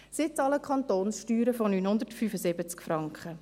Sie bezahlen Kantonssteuern von 975 Franken.